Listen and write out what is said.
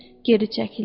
Geri çəkildi.